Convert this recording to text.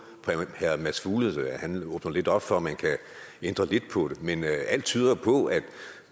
for herre mads fuglede åbner lidt op for at man kan ændre lidt på det men alt tyder på at